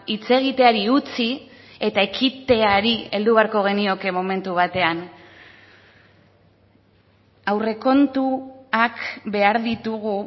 hitz egiteari utzi eta ekiteari heldu beharko genioke momentu batean aurrekontuak behar ditugu